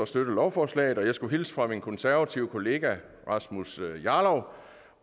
støtte lovforslaget og jeg skulle hilse fra min konservative kollega rasmus jarlov